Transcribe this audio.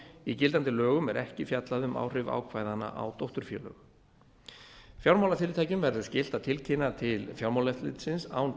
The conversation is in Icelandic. í gildandi lögum er ekki fjallað um áhrif ákvæðanna á dótturfélög fjármálafyrirtækjum verður skylt að tilkynna til fjármálaeftirlitsins án